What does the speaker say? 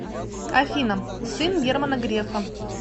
афина сын германа грефа